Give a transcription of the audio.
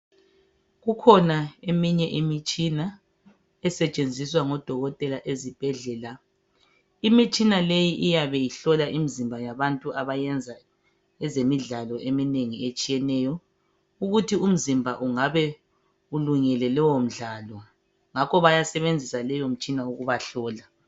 Kukhona eminye imitshina esetshenziswa ngodokotela ezibhedlela. Imitshina leyi iyabe ihlola imizimba yabantu abenza imidlalo eminengi etshiyeneyo. Ukuthi umzimba ungabe ulungele lowomdlalo? Ngakho bayasebensisa leyomitshina ukubahlola.